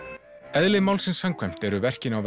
eðli málsins samkvæmt eru verkin á